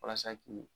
Walasa k'i